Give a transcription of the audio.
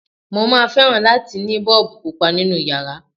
Mo máa fẹ́ràn láti ní Bọ́ọ̀bù Pupa nínu yàrá.